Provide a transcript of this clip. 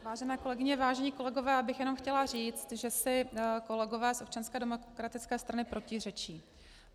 Vážené kolegyně, vážení kolegové, já bych jenom chtěla říct, že si kolegové z Občanské demokratické strany protiřečí.